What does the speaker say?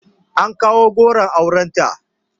An kawo goron aurenta